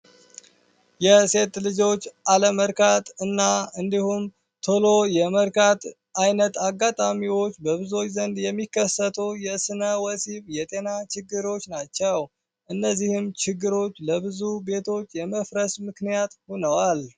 የሴት ልጆች አለመርካት እና እንዲሁም ቶሎ የመርካት አይነት አጋጣሚዎች በብዙች ዘንድ የሚከሰቶ የስነ ወሲብ የጤና ችግሮች ናቸው እነዚህም ችግሮች ለብዙ ቤቶች የመፍረስ ምክንያት ሆነዋል፡፡